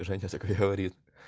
говорит